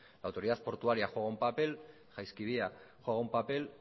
la autoridad portuaria juega un papel jaizkibia juega un papel